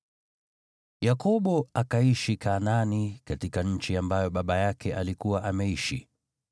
Yakobo akaishi Kanaani katika nchi ambayo baba yake alikuwa ameishi.